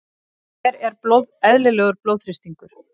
hver er eðlilegur blóðþrýstingur